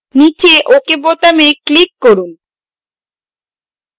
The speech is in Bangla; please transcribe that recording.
নীচে ok বোতামে click করুন